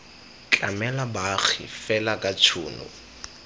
tlamela baagi fela ka tshono